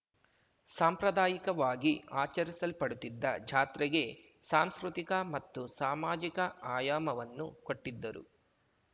ಸಾಂಪ್ರದಾಯಿಕವಾಗಿ ಆಚರಿಸಲ್ಪಡುತ್ತಿದ್ದ ಜಾತ್ರೆಗೆ ಸಾಂಸ್ಕೃತಿಕ ಮತ್ತು ಸಾಮಾಜಿಕ ಆಯಾಮವನ್ನು ಕೊಟ್ಟಿದ್ದರು